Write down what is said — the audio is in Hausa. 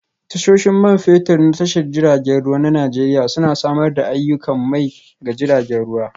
Tashoshin Man Fetur na Tashar jiragen ruwa na Najeriya Suna Samar da aiyukan mai ga jiragen ruwa